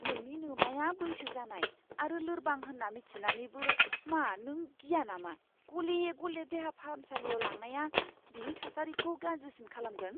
नोंनि नोमाया बैसो जानाय आरो लोरबां होन्ना मिथिनानैबो, मा नों गिया नामा गले गले देहा फाहामसालियाव लांनाया बिनि थासारिखौ गाज्रिसिन खालामगोन?